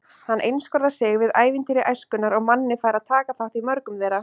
Hann einskorðar sig við ævintýri æskunnar og Manni fær að taka þátt í mörgum þeirra.